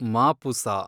Mapusa